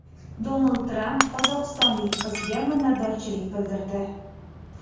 Donald Tramp qozog‘istonlik qizga minnatdorchilik bildirdi.